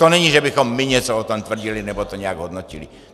To není, že bychom my něco o tom tvrdili nebo to nějak hodnotili.